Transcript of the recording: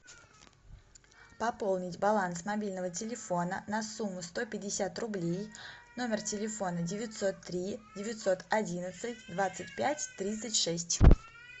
пополнить баланс мобильного телефона на сумму сто пятьдесят рублей номер телефона девятьсот три девятьсот одиннадцать двадцать пять тридцать шесть